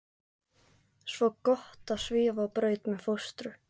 Svo gott að svífa á braut með fóstru.